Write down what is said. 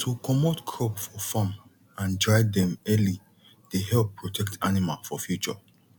to comot crop for farm and dry dem early dey help protect animal for future